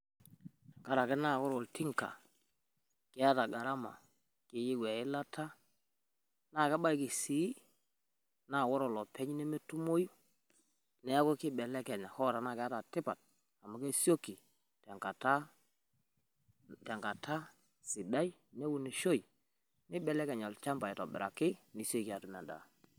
Tenkaraki naa ore oltinka keeta gharama keyieu e ilata naa kebaiki sii naa ore olopeny nemetumoyu. Niaku keibelekenya hoo tenaa keeta tipat amu kesioki tenkata, tenkata sidai neunishoi neibelekeny olchamba aitobiraki nisioki atum endaa.